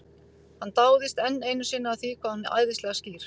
Hann dáist enn einu sinni að því hvað hún er æðislega skýr.